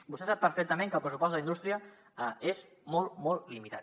vostè sap perfectament que el pressupost d’indústria és molt molt limitat